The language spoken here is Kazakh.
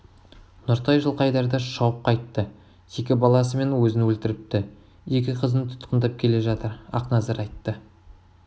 нұртай жылқайдарды шауып қайтты екі баласы мен өзін өлтріпті екі қызын тұтқындап келе жатыр ақназар айтты